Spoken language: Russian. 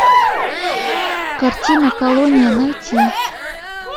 картина колония найти